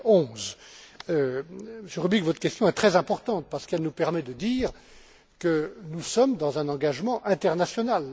2011. Monsieur Rubig, votre question est très importante parce qu'elle nous permet de dire que nous sommes dans un engagement international.